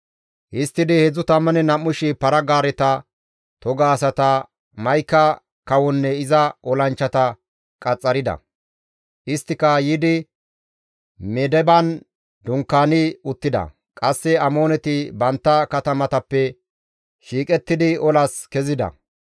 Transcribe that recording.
Histtidi 32,000 para-gaareta, toga asata, Ma7ika kawonne iza olanchchata qaxxarida; isttika yiidi Medeban dunkaani uttida; qasse Amooneti bantta katamatappe shiiqettidi olas kezida.